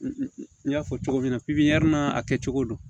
N y'a fɔ cogo min na n'a kɛcogo don